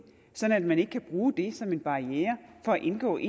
sådan at man ikke kan bruge det som en barriere for at indgå i